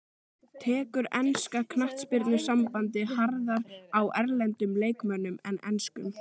Tekur enska knattspyrnusambandið harðar á erlendum leikmönnum en enskum?